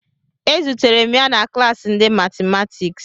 Ezutere m ya na klassi ndị matimatiks